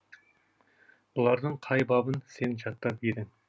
бұлардың қай бабын сен жаттап едің